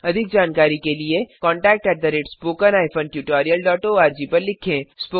अधिक जानकारी के लिए contactspoken tutorialorg पर लिखें